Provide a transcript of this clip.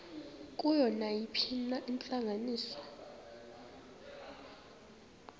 kuyo nayiphina intlanganiso